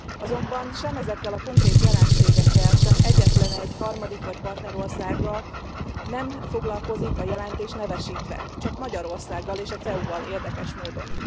Azonban sem ezekkel a konkrét jelenségekkel, sem egyetlenegy harmadik vagy partnerországgal nem foglalkozik a jelentés nevesítve, csak Magyarországgal és a CEU val érdekes módon.